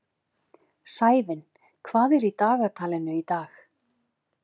Sævin, hvað er í dagatalinu í dag?